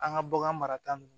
An ka bagan marata ninnu